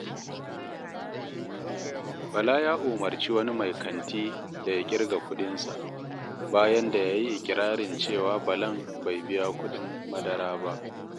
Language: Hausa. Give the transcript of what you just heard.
Bala ya umarci wani mai kanti da ya ƙirga kuɗinsa, bayan da ya yi iƙirarin cewa Balan bai biya kuɗin madara ba.